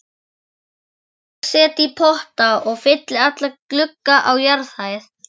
Ég set í potta og fylli alla glugga á jarðhæð.